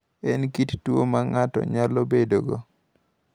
En kit tuwo ma ng’ato nyalo bedogo.